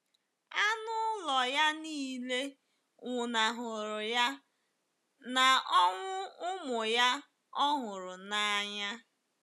Anụ ụlọ ya nile nwụnahụrụ ya, na ọnwụ ụmụ ya ọ hụrụ n’anya.